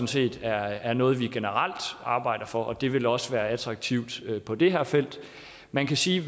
set er noget vi generelt arbejder for og det vil også være attraktivt på det her felt man kan sige